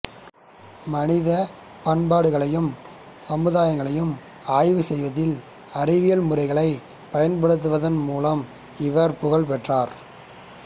மனிதப் பண்பாடுகளையும் சமுதாயங்களையும் ஆய்வு செய்வதில் அறிவியல் முறைகளைப் பயன்படுத்துவதன் மூலம் இவர் புகழ் பெற்றார்